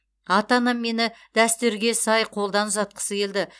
ата анам мені дәстүрге сай қолдан ұзатқысы келді